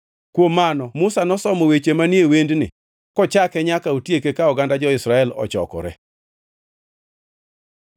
Kuom mano Musa nosomo weche manie wendni kochake nyaka otieke ka oganda jo-Israel ochokore: